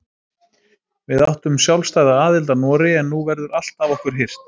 Við áttum sjálfstæða aðild að Noregi en nú verður allt af okkur hirt.